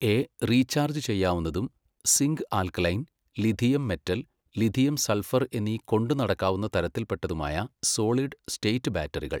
A, recharge ചെയ്യാവുന്നതും, zinc alkaline, lithium metal, lithium sulphur എന്നീ കൊണ്ടുനടക്കാവുന്ന തരത്തിൽപ്പെട്ടതുമായ സോളിഡ് സ്റ്റേറ്റ് ബാറ്ററികൾ.